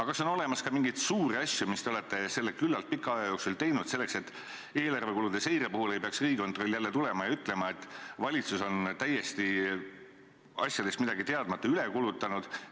Kas on aga olemas ka mingeid suuri asju, mis te olete selle küllaltki pika aja jooksul teinud, selleks et eelarve kulude seire puhul ei peaks Riigikontroll jälle tulema ja ütlema, et valitsus on täiesti asjadest midagi teadmata üle kulutanud?